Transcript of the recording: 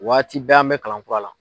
Waati bɛɛ an bɛ kalan kura la.